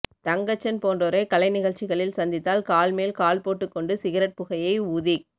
தங்கச்சன் போன்றோரை கலைனிகழ்ச்சிகளில் சந்தித்தால் கால் மேல் கால் போட்டுக்கொண்டு சிகரெட் புகையை ஊதிக்